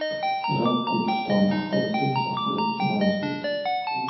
Iroq Kurdistoni aholisi mustaqillik uchun ovoz berdi.